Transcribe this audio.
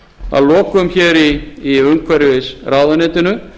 að lokum er í umhverfisráðuneytinu